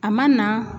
A ma na